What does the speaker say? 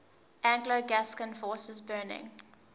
anglo gascon forces burning